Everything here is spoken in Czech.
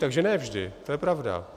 Takže ne vždy, to je pravda.